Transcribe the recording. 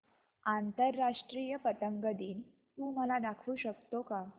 आंतरराष्ट्रीय पतंग दिन तू मला दाखवू शकतो का